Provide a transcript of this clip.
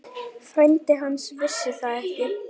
Frændi hans vissi það ekki.